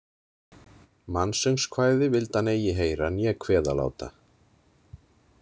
Mansöngskvæði vildi hann eigi heyra né kveða láta.